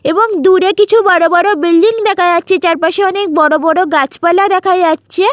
এবং দূরে কিছু বড়বড় বিল্ডিং দেখা যাচ্ছেচারপাশে অনেক বড়বড় গাছপালা দেখা যাচ্ছে।